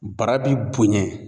Bara bi bonɲɛ.